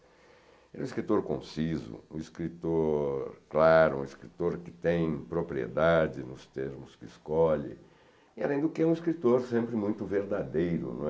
Ele é um escritor conciso, um escritor claro, um escritor que tem propriedade nos termos que escolhe, e, além do que, é um escritor sempre muito verdadeiro, não é.